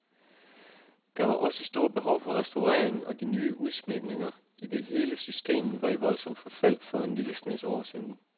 Der var også stort behov for restaureringen og de nye udsmykninger, idet hele systemet var i voldsomt forfald for en lille snes år siden.